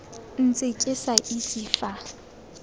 ntse ke sa itse fa